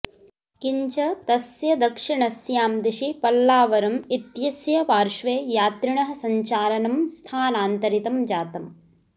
किञ्च तस्य दक्षिणस्यां दिशि पल्लावरम् इत्यस्य पार्श्वे यात्रिणः सञ्चालनं स्थानान्तरितं जातम्